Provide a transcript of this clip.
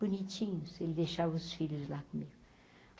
Bonitinhos, ele deixava os filhos lá comigo.